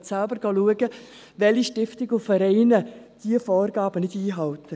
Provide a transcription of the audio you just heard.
Sie können selbst nachschauen, welche Stiftungen und Vereine diese Vorgaben nicht einhalten.